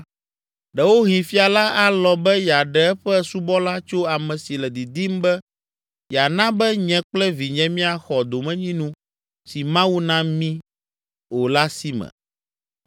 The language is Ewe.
Ɖewohĩ fia la alɔ̃ be yeaɖe eƒe subɔla tso ame si le didim be yeana be nye kple vinye míaxɔ domenyinu si Mawu na mí o la si me.’